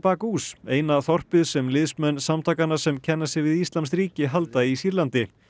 Baghouz eina þorpið sem liðsmenn samtakanna sem kenna sig við íslamskt ríki halda í Sýrlandi